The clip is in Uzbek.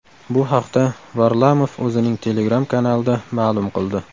Bu haqda Varlamov o‘zining Telegram kanalida ma’lum qildi .